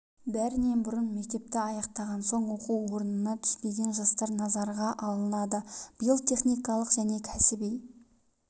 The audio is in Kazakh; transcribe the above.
бәрінен бұрын мектепті аяқтаған соң оқу орнына түспеген жастар назарға алынады биыл техникалық және кәсіби